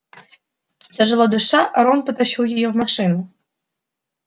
тяжело дыша рон потащил её в машину